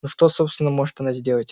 но что собственно может она сделать